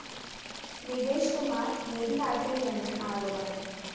നികേഷ് കുമാര്‍ നീതി കാട്ടിയില്ലെന്ന് ആരോപണം